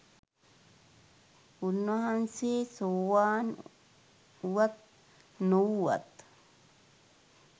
උන්වහන්සේ සෝවාන් උවත් නොවූවත්